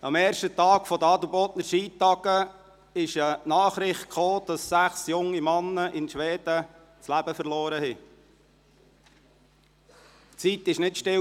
Am ersten Tag der Adelbodner Skitage kam die Nachricht, dass sechs junge Männer in Schweden ihr Leben verloren hatten.